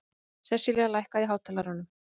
Seselía, lækkaðu í hátalaranum.